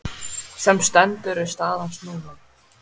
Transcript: Sem stendur er staðan snúin.